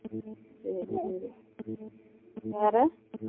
செரி செரி வேற